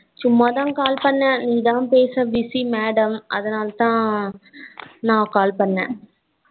சும்மாத call பண்ணேன். நீதா பேசல busy madam அதனாலத நா call பண்ணே.